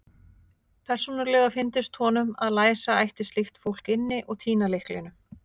Persónulega fyndist honum að læsa ætti slíkt fólk inni og týna lyklinum.